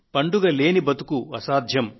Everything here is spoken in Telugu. పండుగ కాని బతుకు అసాధ్యం